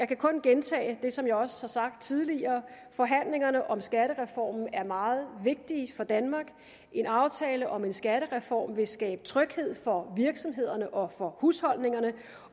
kan kun gentage det som jeg også har sagt tidligere at forhandlingerne om skattereformen er meget vigtige for danmark en aftale om en skattereform vil skabe tryghed for virksomhederne og husholdningerne